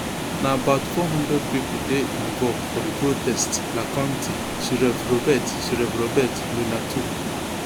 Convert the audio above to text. na about four hundred pipo dey involved for di protests la county sheriff robert sheriff robert luna tok